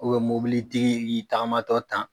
mobilitigi y'i tagamatɔ tan